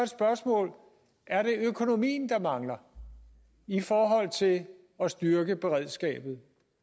spørgsmål er det økonomien der mangler i forhold til at at styrke beredskabet